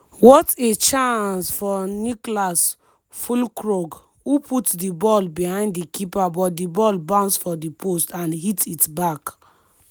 what a chance for niclas fullkrug who put di ball behind di keeper but di ball bounce for di post and hit it back.